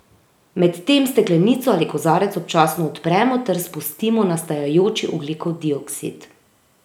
Medtem steklenico ali kozarec občasno odpremo ter spustimo nastajajoči ogljikov dioksid.